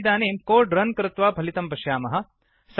वयमिदानीं code run कृत्वा फलितं पश्यामः